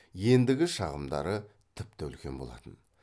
ендігі шағымдары тіпті үлкен болатын